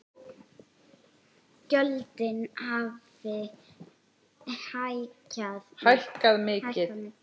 Gjöldin hafi hækkað mikið.